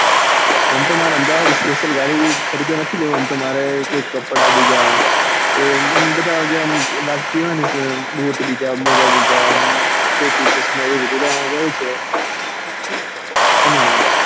આમ તો મારે અમદાવાદ special ખરીદવા નથી જવું આમ તો મારે કપડા બીજ્જા કોઈ આમ બધા જેવ્મ લાગતું હોય ને બુટ બીજા મોજા બીજા ટોપી chasma બધું લેવા જવું છે એના માટે,